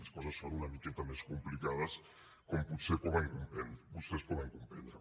les coses són una miqueta més complicades com potser vostès poden comprendre